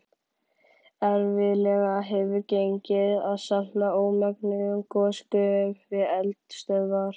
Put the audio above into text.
Erfiðlega hefur gengið að safna ómenguðum gosgufum við eldstöðvar.